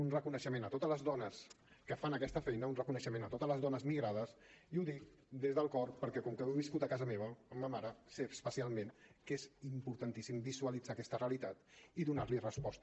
un reconeixement a totes les dones que fan aquesta feina un reconeixement a totes les dones migrades i ho dic des del cor perquè com que ho he viscut a casa meva amb ma mare sé especialment que és importantíssim visualitzar aquesta realitat i donar hi resposta